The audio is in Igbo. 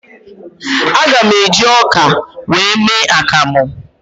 Aga m eji ọka wee mee akamụ